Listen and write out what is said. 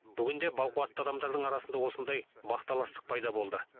бүгінде бақуатты адамдардың арасында осындай бақталастық пайда болды